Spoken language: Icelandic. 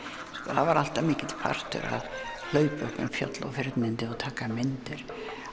það var alltaf mikill partur að hlaupa um fjöll og firnindi og taka myndir